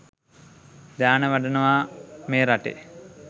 ධ්‍යාන වඩනවා මේ රටේ